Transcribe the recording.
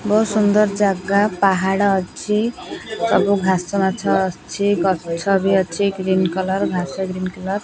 ବହୁତ୍ ସୁନ୍ଦର୍ ଜାଗା ପାହାଡ଼ ଅଛି ସବୁ ଘାସ ଗଛ ଅଛି ଗଛ ବି ଅଛି ଗ୍ରୀନ କଲର୍ ଘାସ ବି ଗ୍ରୀନ କଲର୍ ।